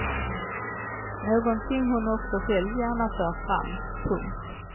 Någonting hon också själv gärna för fram. punkt